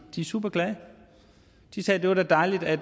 de er superglade de sagde det er da dejligt at